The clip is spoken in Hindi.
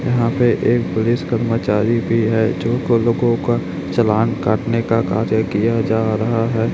यहां पे एक पुलिस कर्मचारी भी है जो को लोगों का चालान काटने का कार्य किया जा रहा है।